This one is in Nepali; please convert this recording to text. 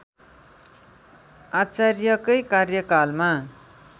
आचार्यकै कार्यकालमा